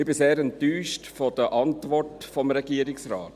Ich bin sehr enttäuscht von der Antwort des Regierungsrates.